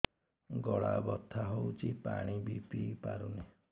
ଗଳା ବଥା ହଉଚି ପାଣି ବି ପିଇ ପାରୁନି